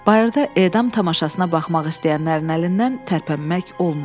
Bayırda edam tamaşasına baxmaq istəyənlərin əlindən tərpənmək olmurdu.